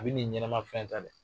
A bɛ nin ɲɛnɛma fɛn ta dɛ